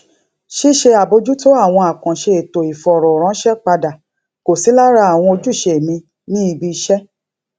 ṣíṣe àbójútó àwọn àkànṣe ètò ìfọrọ ránṣẹ padà kò sí lára àwọn ojúṣe mi ní ibi iṣẹ